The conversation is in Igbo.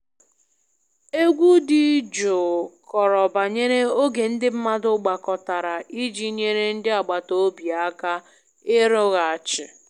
Egwu dị jụụ kọrọ banyere oge ndị mmadụ gbakọtara iji nyere ndị agbata obi aka ịrụghachi